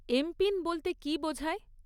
MPIN বলতে কী বোঝায়?